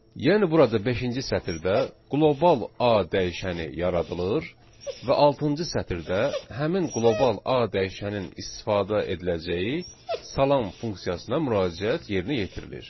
Yəni burada beşinci sətirdə qlobal A dəyişəni yaradılır və altıncı sətirdə həmin qlobal A dəyişənin istifadə ediləcəyi salam funksiyasına müraciət yerinə yetirilir.